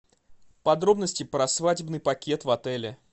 подробности про свадебный пакет в отеле